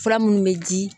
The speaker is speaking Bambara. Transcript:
Fura minnu bɛ di